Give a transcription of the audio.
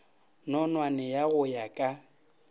nonwane ya go ya ka